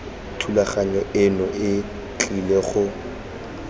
thulaganyo eno e tlile go